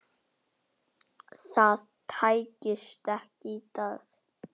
Það tækist ekki í dag.